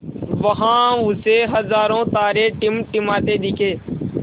वहाँ उसे हज़ारों तारे टिमटिमाते दिखे